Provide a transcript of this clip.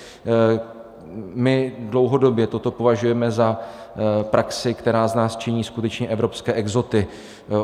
My dlouhodobě toto považujeme za praxi, která z nás činí skutečně evropské exoty.